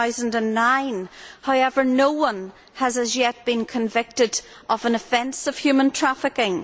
2009. However, no one has yet been convicted of an offence of human trafficking.